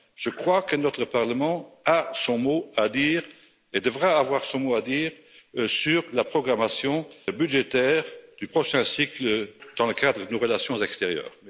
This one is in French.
Je crois que notre Parlement a son mot à dire, et devra avoir son mot à dire sur la programmation budgétaire du prochain cycle dans le cadre de nos relations extérieures.